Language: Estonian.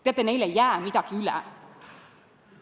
Teate, neil ei jää midagi üle!